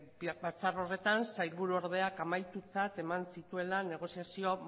batzar horretan sailburuordeak amaitutzat eman zituela negoziazio